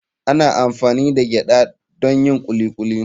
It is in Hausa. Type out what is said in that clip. Ana amfani da gyada don yin kuli kuli.